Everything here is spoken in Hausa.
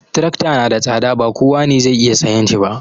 Trakta na da tsada, ba kowa ne zai iya sayan shi ba